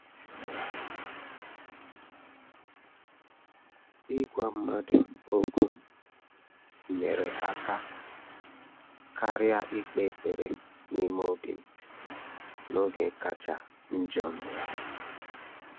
Ị́gwá mmàdụ̀ ókwú nyèrè áká kàrị́à íkpé ékpèré n’ímé óbí m n’ógè kàchà njọ́ m.